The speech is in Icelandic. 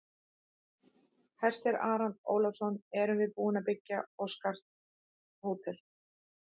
Hersir Aron Ólafsson: Erum við búin að byggja og skart hótel?